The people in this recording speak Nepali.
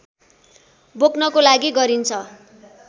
बोक्नको लागि गरिन्छ